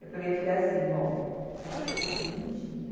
Eu peguei e falei assim, bom, o negócio aqui vai ser mentir.